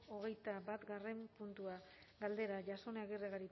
hogeita batgarren puntua galdera jasone agirre